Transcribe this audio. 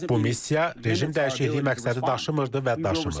Bu missiya rejim dəyişikliyi məqsədi daşımırdı və daşımır.